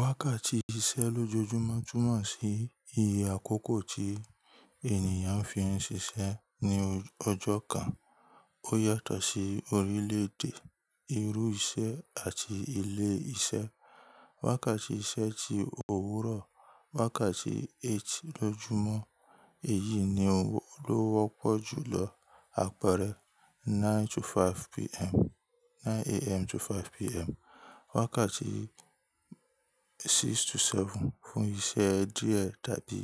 Wákàtí iṣẹ́ lójoójúmọ́ túmọ̀ sí iye àkókò tí ènìyàn fi ń ṣiṣẹ́ ní ọjọ́ kan. Ó yàtọ̀ sí orílè èdè, irú iṣẹ́ àti ilé iṣẹ́. Wákàtí iṣẹ́ ti òwúrọ̀, wákàtí eight lójoójumọ́, èyí ni ó wọ́pọ̀ jù lọ. Àpẹrẹ nine to five PM, nine AM to five PM. Wákàtí six to seven fún isẹ́ díẹ̀ tàbí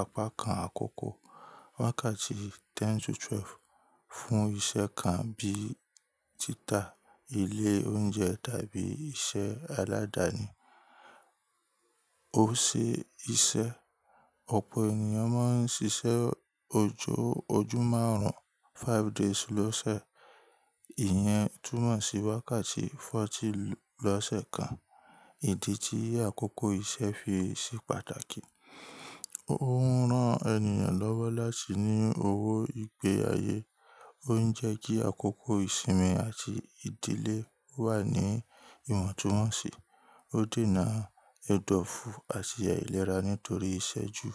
apá kan àkọ́kọ́. Wákàtí ten to twelve fún iṣẹ́ kan abí i títa, ilé oúnjẹ tàbí iṣẹ́ aládàáni. Ó ṣe iṣẹ́, ọ̀pọ̀ ènìyàn máa ń ṣiṣẹ́ ọjọ́ márùn-ún, five days lọ́sẹ̀. Ìyẹn túmọ̀ sí wákàtí forty lọ́sẹ̀ kan. Ìdí tí àkókò iṣẹ́ fi ṣe pàtàkì, ó ń rán ènìyàn lọ́wọ́ láti ní owó ìgbé ayé, ó ń jẹ́ kí àkókò ìsinmi àti ìdílé wà ní ìwọ̀ntúnwọ̀nsì, ó dènà ẹdọfu àti àìlera nítorí iṣẹ́ ju.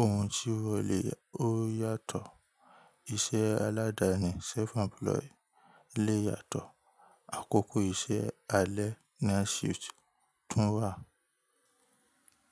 Ohun tí wọlé ó yàtọ̀, iṣẹ́ aládàáni self employ lé yàtọ̀, àkókò iṣẹ́ alẹ́ night shift tún wà.